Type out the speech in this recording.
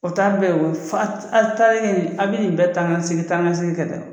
O ta bɛɛ ye wo a bi nin bɛɛ taanikasegin taanikasegin kɛ tan.